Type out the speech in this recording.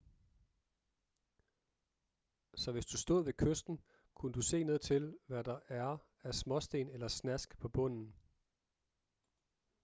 så hvis du stod ved kysten kunne du se ned til hvad der er af småsten eller snask på bunden